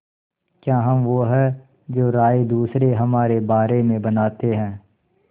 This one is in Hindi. क्या हम वो हैं जो राय दूसरे हमारे बारे में बनाते हैं